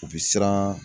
U bɛ siran